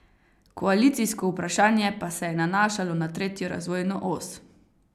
Koalicijsko vprašanje pa se je nanašalo na tretjo razvojno os.